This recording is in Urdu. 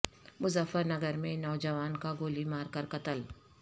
مظفر نگر میں نوجوان کا گولی مار کر قتل